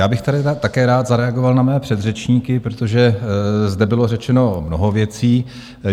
Já bych tady také rád zareagoval na mé předřečníky, protože zde bylo řečeno mnoho věcí.